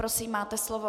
Prosím, máte slovo.